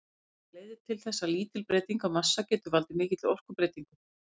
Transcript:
Það leiðir til þess að lítil breyting á massa getur valdið mikilli orkubreytingu.